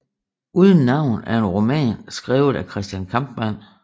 Uden navn er en roman skrievet af Christian Kampmann